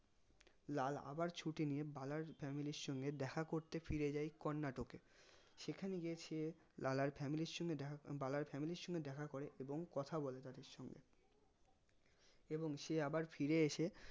লাল আবার ছুটি নিয়ে বালার family এর সঙ্গে দেখা করতে ফিরে যাই কর্নাটকে সেখানে গিয়ে সে লালার family এর সঙ্গে দেখা বলার family এর সঙ্গে দেখা করে এবং কথা বলে তাদের সঙ্গে এবং সে আবার ফায়ার এসে